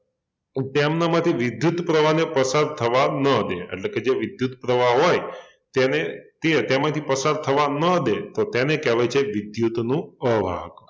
તો કે એમનામાંથી વિદ્યુત પ્રવાહને પસાર થવાં ન દે એટલે કે જે વિદ્યુત પ્રવાહ હોય તેને તેમાંથી પસાર થવાં ન દે તો તેને કહેવાય છે વિદ્યુતનું અવાહક